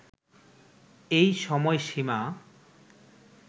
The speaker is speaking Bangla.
এই সময়সীমা